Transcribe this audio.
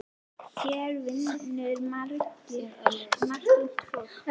Hér vinnur margt ungt fólk.